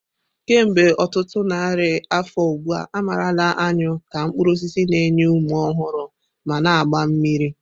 Kemgbe ọtụtụ narị afọ ugbu a, a marala anyụ ka mkpuru osisi na-enye ume ọhụrụ ma na-agba mmiri.